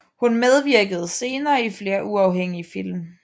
Hun medvirkede senere i flere uafhængige film